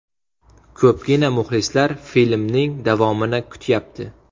Ko‘pgina muxlislar filmning davomini kutyapti.